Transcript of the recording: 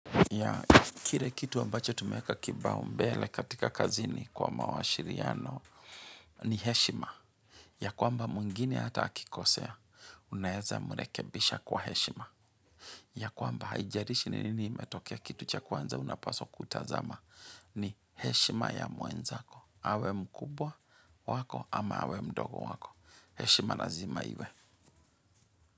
Ya kile kitu ambacho tumeweka kipaumbele katika kazini kwa mawasiliano ni heshima. Ya kwamba mwingine hata akikosea, unaweza mrekebisha kwa heshima. Ya kwamba haijalishi ni nini imetokea kitu cha kwanza unapasa kutazama ni heshima ya mwenzako. Awe mkubwa wako ama awe mdogo wako. Heshima lazima iwe.